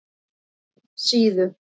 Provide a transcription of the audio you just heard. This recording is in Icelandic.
Síðu